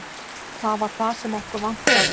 Það var það sem okkur vantaði.